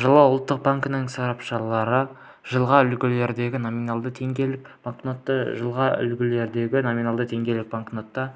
жылы ұлттық банктің сарапшылары жылғы үлгідегі номиналы теңгелік банкнотты жылғы үлгідегі номиналы теңгелік банкнотты